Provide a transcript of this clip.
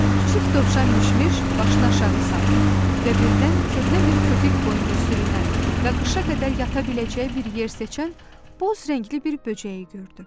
Kiçik dovşan Mişmiş başını aşağı saldı və birdən köhnə bir kütük boyunca sürünən və qışa qədər yata biləcəyi bir yer seçən boz rəngli bir böcəyi gördü.